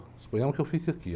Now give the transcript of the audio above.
Suponhamos que eu fique aqui.